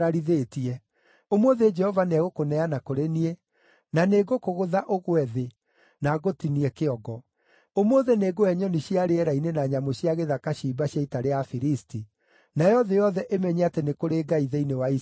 Ũmũthĩ Jehova nĩegũkũneana kũrĩ niĩ, na nĩngũkũgũtha ũgwe thĩ, na ngũtinie kĩongo. Ũmũthĩ nĩngũhe nyoni cia rĩera-inĩ na nyamũ cia gĩthaka ciimba cia ita rĩa Afilisti, nayo thĩ yothe ĩmenye atĩ nĩ kũrĩ Ngai thĩinĩ wa Isiraeli.